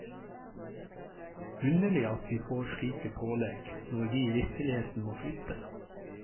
Underlig at vi får slike pålegg når vi i virkeligheten må flytte.